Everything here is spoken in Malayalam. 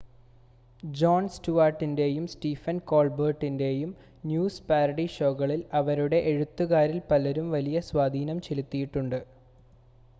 ജോൺ സ്റ്റുവാർട്ടിൻ്റെയും സ്റ്റീഫൻ കോൾബെർട്ടിൻ്റെയും ന്യൂസ് പാരഡി ഷോകളിൽ അവരുടെ എഴുത്തുകാരിൽ പലരും വലിയ സ്വാധീനം ചെലുത്തിയിട്ടുണ്ട്